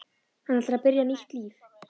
Hann ætlar að byrja nýtt líf.